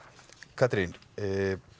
Katrín